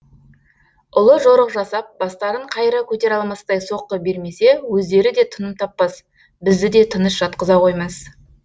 ұлы жорық жасап бастарын қайыра көтере алмастай соққы бермесе өздері де тыным таппас бізді де тыныш жатқыза қоймас